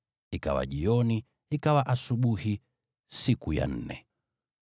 Ikawa jioni, ikawa asubuhi, siku ya nne.